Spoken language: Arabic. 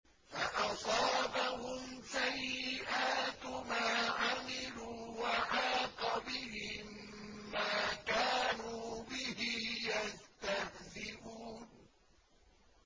فَأَصَابَهُمْ سَيِّئَاتُ مَا عَمِلُوا وَحَاقَ بِهِم مَّا كَانُوا بِهِ يَسْتَهْزِئُونَ